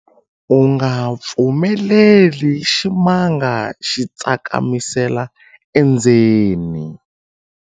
U nga pfumeleli ximanga xi tsakamisela endzeni.